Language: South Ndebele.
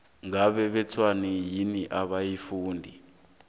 ngabe batshwenywa yini abafundi